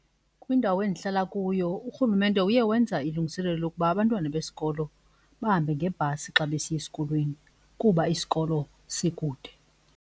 Kwindawo endihlala kuyo uRhulumente uye wenza ilungiselelo lokuba abantwana besikolo bahambe ngebhasi xa besiya esikolweni kuba isikolo sikude.